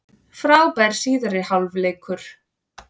Frábær síðari hálfleikur